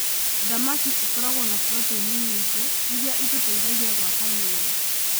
Thamaki ĩkoragwo na proteini nyingĩ iria itũteithagia gwaka mĩĩrĩ.